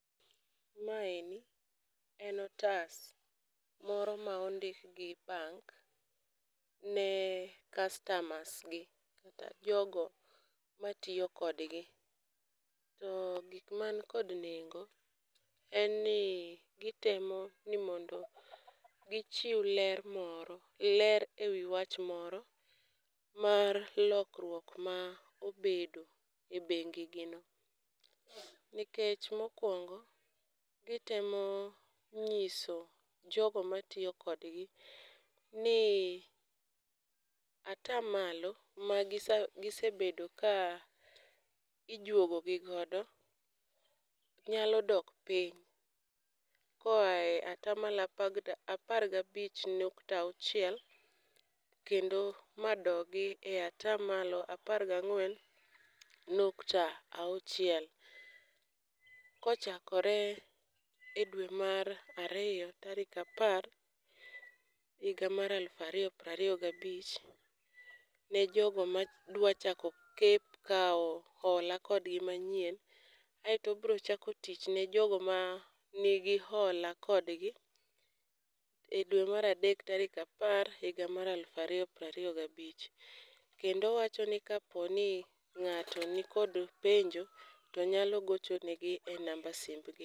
Maeni en otas moro ma ondik gi bank ne customers gi kata jogo matiyo kodgi. To gik man kod nengo en ni gitemo ni mondi gichiw ler moro, ler ewi wach moro mar lokruok ma obedo e bengi gi no. Nikech mokwongo gitemo nyiso jogo matiyo kodgi ni ata malo ma gisa gise bedo ka ijuogo gi godo, nyalo dok piny. Koae ata malo apar gabich nukta auchiel, kendo ma dogi e ata malo apar gang'wen nukta auchiel. Kochakore e dwe mar ariyo tarik apar, higa mar alufariyo prariyo gabich, ne jogo ma dwa chako kep kawo hola kodgi manyien. Aeto obro chako tich ne jogo ma nigi hola kodgi, e dwe maradek tarik apar higa mar alufariyo prariyo gabich. Kendo owacho ni kaponi ng'ato nikod penjo to nyalo gocho negi e namba simb gi.